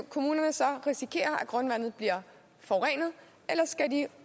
risikere at grundvandet bliver forurenet eller skal de